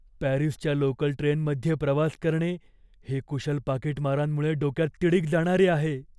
पॅरिसच्या लोकल ट्रेनमध्ये प्रवास करणे हे कुशल पाकीटमारांमुळे डोक्यात तिडीक जाणारे आहे.